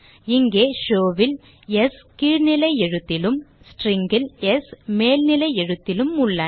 இங்கே show ல் ஸ் கீழ்நிலை எழுத்திலும் string ல் ஸ் மேல்நிலை எழுத்திலும் உள்ளன